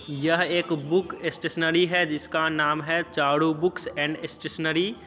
यह एक book stationery है जिसका नाम है चारु बुकस एंड स्टेशनरी ।